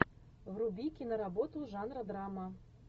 вруби киноработу жанра драма